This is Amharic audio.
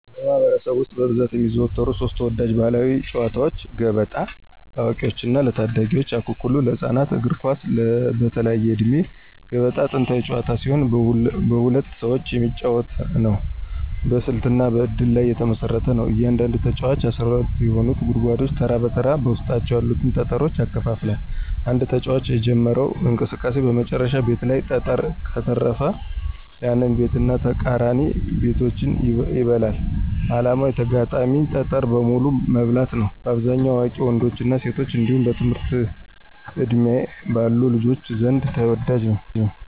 በማኅበረሰብ ውስጥ በብዛት የሚዘወተሩ ሦስት ተወዳጅ ባሕላዊ ጨዋታዎች፦ ገበጣ (ለአዋቂዎችና ለታዳጊዎች) ፣አኩኩሉ (ለህፃናት)፣ እግር ኳስ (በተለያየ ዕድሜ)። ገበጣ ጥንታዊ ጨዋታ ሲሆን በሁለት ሰዎች የሚጫወት ነው። በስልትና በእድል ላይ የተመሰረተ ነው። እያንዳንዱ ተጫዋች 12 የሆኑትን ጉድጓዶች ተራ በተራ በውስጣቸው ያሉትን ጠጠሮች ያከፋፍላል። አንድ ተጫዋች የጀመረው እንቅስቃሴ በመጨረሻው ቤት ላይ ጠጠር ከተረፈ፣ ያንን ቤትና ተቃራኒ ቤቶችን ይበላል። ዓላማው የተጋጣሚን ጠጠር በሙሉ መብላት ነው። በአብዛኛው በአዋቂ ወንዶችና ሴቶች እንዲሁም በትምህርት ዕድሜ ባሉ ልጆች ዘንድ ተወዳጅ ነው።